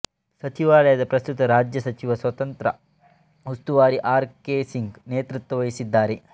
ಸಚಿವಾಲಯದ ಪ್ರಸ್ತುತ ರಾಜ್ಯ ಸಚಿವ ಸ್ವತಂತ್ರ ಉಸ್ತುವಾರಿ ಆರ್ ಕೆ ಸಿಂಗ್ ನೇತೃತ್ವ ವಹಿಸಿದ್ದಾರೆ